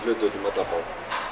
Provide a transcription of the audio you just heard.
hluti út um alla borg